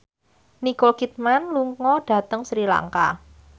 Nicole Kidman lunga dhateng Sri Lanka